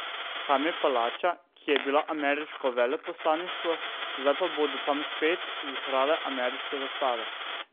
Tam je palača, ki je bila ameriško veleposlaništvo, zdaj pa bodo tam spet vihrale ameriške zastave.